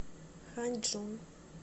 ханьчжун